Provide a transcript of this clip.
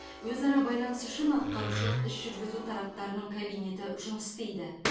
өзара байланыс үшін атқарушылық іс жүргізу тараптарының кабинеті жұмыс істейді